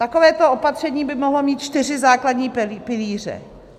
Takovéto opatření by mohlo mít čtyři základní pilíře.